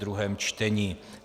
druhé čtení